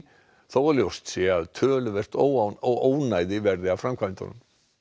þó að ljóst sé að töluvert ónæði verði af framkvæmdunum